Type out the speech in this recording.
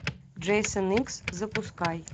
джейсон икс запускай